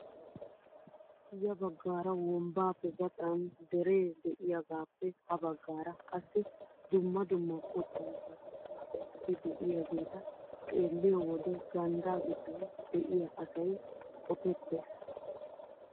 Ya baggaara wombbaappe gaxan deree de'iyaagappe ha baggaara qassi dumma dumma qottan keexettida keettati de'iyaageeta xeelliyo wode ganddaa giddon de'iyaa asay qopettees!